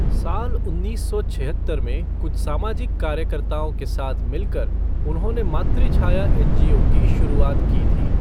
साल उन्नीस सौ छिहत्तर में कुछ सामाजिक कार्यकर्ताओं के साथ मिलकर उन्होंने मातृछाया एनजीओ की शुरुआत की थी।